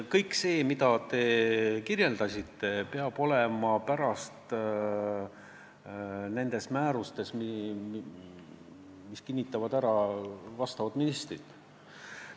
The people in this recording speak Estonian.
Kõik see, millest te rääkisite, peab olema pärast seaduse vastuvõtmist määrustes, mille kinnitavad ministrid.